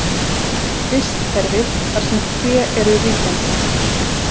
Vistkerfi þar sem tré eru ríkjandi.